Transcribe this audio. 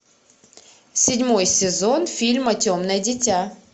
седьмой сезон фильма темное дитя